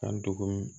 An dɔgɔminɛn